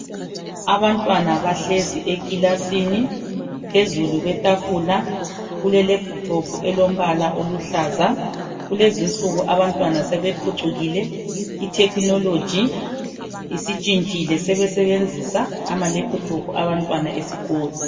Abantwana bahlezi ekilasini. Phezulu kwethafula kule lephuthophu eluhlaza. Kulez'insuku abantwana sebephucukile. Ithekinoloji isintshintshile sebesebenzisa amalephutophu abantwana esikolo.